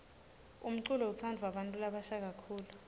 umculo utsandvwa bantfu labasha kakhulu